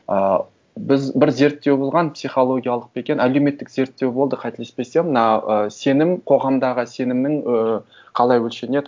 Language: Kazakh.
ыыы біз бір зерттеу болған психологиялық па екен әлеуметтік зерттеу болды қателеспесем мына ы сенім қоғамдағы сенімнің ыыы қалай өлшенеді